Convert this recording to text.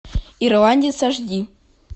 ирландец аш ди